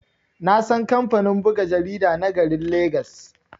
Nasan kamfanin buga jarida na garin legas.